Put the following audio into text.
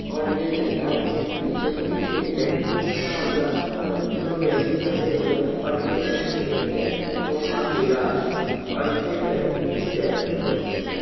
और ये चट्टान के बीचों बीच एक व्यक्ति फँसा हुआ है और दो व्यक्ति फँसे हुए हैं और ये व्यक्ति एक व्यक्ति को हाथ दे रहा है और ये व्यक्ति इस व्यक्ति को खींचने--